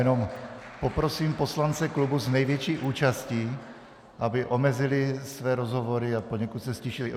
Jenom poprosím poslance klubu s největší účastí, aby omezili své rozhovory a poněkud se ztišili.